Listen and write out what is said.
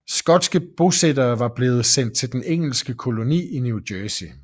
Skotske bosættere var også blevet sendt til den engelske koloni New Jersey